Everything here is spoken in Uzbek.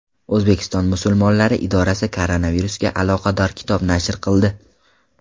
O‘zbekiston musulmonlari idorasi koronavirusga aloqador kitob nashr qildi.